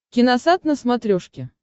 киносат на смотрешке